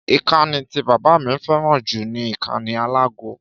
Ìkànnì tí bàbá mi fẹ́ràn ju ni ìkànnì àlágó